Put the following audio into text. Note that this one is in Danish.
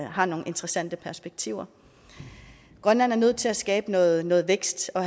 har nogle interessante perspektiver grønland er nødt til at skabe noget noget vækst og